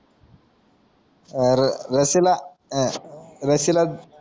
रशीला